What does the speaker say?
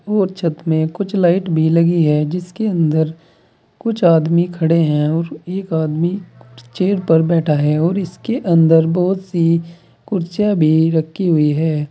और छत में कुछ लाइट भी लगी है जिसके अंदर कुछ आदमी खड़े हैं और एक आदमी चेयर पर बैठा है और इसके अंदर बहुत सी कुर्सियां भी रखी हुई है।